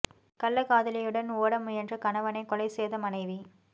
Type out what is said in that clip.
கள்ளக்காதலியுடன் ஓட முயன்ற கணவனை கொலை செய்த மனைவி